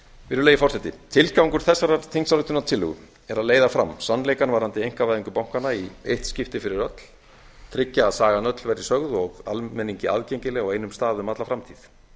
virðulegi forseti tilgangur þessarar þingsályktunartillögu er að leiða fram sannleikann varðandi einkavæðingu bankanna í eitt skipti fyrir öll tryggja að sagan öll verði sögð og almenningi aðgengileg á einum stað um alla framtíð